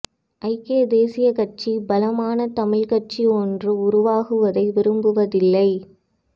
ஐக்கிய தேசிய கட்சி பலமான தமிழ் கட்சி ஒன்று உருவாகுவதை விரும்புவதில்லை